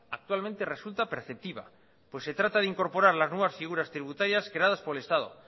actualmente resulta perceptiva pues se trata de incorporar las nuevas figuras tributarias creadas por el estado